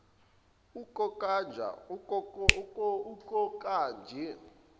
ukokanjo